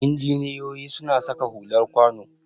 Injiniyoyi suna saka hular kwano